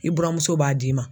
I buramuso b'a d'i ma.